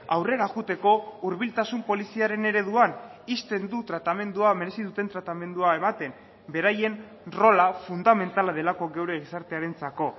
aurrera joateko hurbiltasun poliziaren ereduan ixten du tratamendua merezi duten tratamendua ematen beraien rola fundamentala delako gure gizartearentzako